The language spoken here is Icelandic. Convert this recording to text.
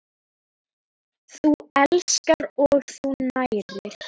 Þú elskar og þú nærir.